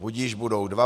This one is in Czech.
Budiž, budou dva.